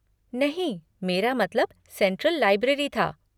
नहीं मेरा मतलब सेंट्रल लाइब्रेरी था।